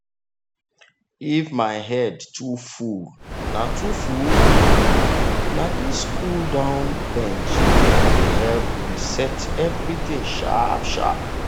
if my head too full na too full na this cool-down bend dey help reset everything sharp-sharp.